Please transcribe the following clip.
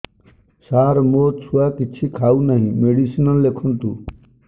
ସାର ମୋ ଛୁଆ କିଛି ଖାଉ ନାହିଁ ମେଡିସିନ ଲେଖନ୍ତୁ